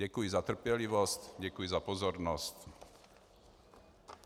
Děkuji za trpělivost, děkuji za pozornost.